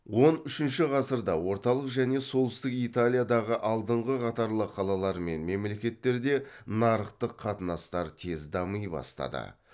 он үшінші ғасырда орталық және солтүстік италиядағы алдыңғы қатарлы қалалар мен мемлекеттерде нарықтық қатынастар тез дами бастады